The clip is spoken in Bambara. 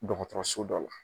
Dɔgɔtɔrɔso dɔ la